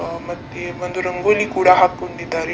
ಆ ಮತ್ತೆ ಒಂದು ರಂಗೋಲಿ ಕೂಡ ಹಾಕ್ಕೊಂಡಿದ್ದಾರೆ .